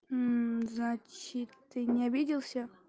значит ты не обиделся